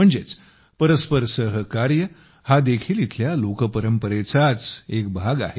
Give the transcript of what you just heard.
म्हणजेच परस्पर सहकार्य हा देखील इथल्या लोकपरंपरेचाच एक भाग आहे